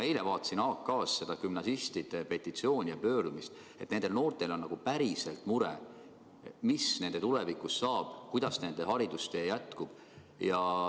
Eile ma vaatasin AK-st gümnasistide petitsiooni ja pöördumist ja nägin, et nendel noortel on päriselt mure, mis nende tulevikust saab, kuidas nende haridustee jätkub.